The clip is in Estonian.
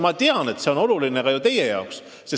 Ma tean, et see on oluline ka teie jaoks.